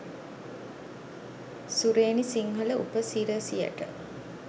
සුරේනි සිංහල උපසිරැසියට.